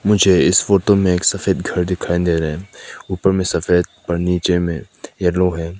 मुझे इस फोटो में एक सफ़ेद घर दिखाई दे रहे हैं ऊपर में सफेद नीचे में येलो है।